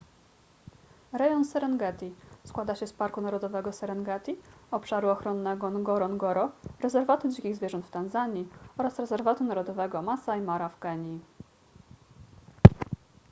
rejon serengeti składa się z parku narodowego serengeti obszaru ochronnego ngorongoro rezerwatu dzikich zwierząt w tanzanii oraz rezerwatu narodowego masai mara w kenii